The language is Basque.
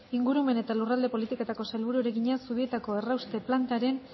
ingurumen eta lurralde politikako sailburuari egina zubietako errauste plantaren